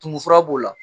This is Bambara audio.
Tumu fura b'o la